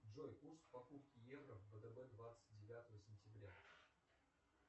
джой курс покупки евро в втб двадцать девятого сентября